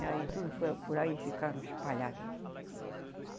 E aí tudo foram, por aí ficaram espalhadas.